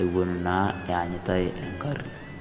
ewuen naa enyitai eng'ari.